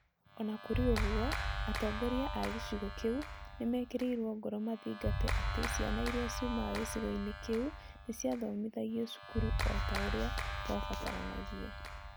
O na kũrĩ ũguo, atongoria a gĩcigo kĩu nĩ meekĩrirũo ngoro mathingate atĩ ciana iria ciumaga gĩcigo-inĩ kĩu nĩ ciathomithagio cukuru o ta ũrĩa kwabataranagia.